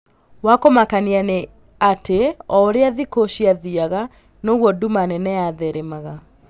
Wakũmakania nĩa atĩ o ũrĩa thikũ cĩathiaga noguo nduma nene yatheremaga